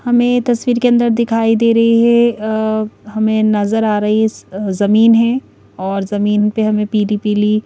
हमें तस्वीर के अंदर दिखाई दे रही है अ हमें नजर आ रही है ज-ज्-जमीन है और जमीन पे हमें पीली-पीली --